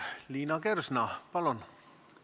Liina Kersna, palun!